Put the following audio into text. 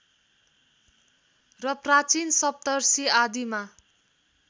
र प्राचीन सप्तर्षि आदिमा